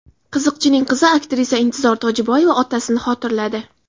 Qiziqchining qizi aktrisa Intizor Tojiboyeva otasini xotirladi.